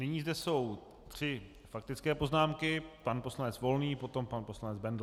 Nyní zde jsou tři faktické poznámky: pan poslanec Volný, potom pan poslanec Bendl.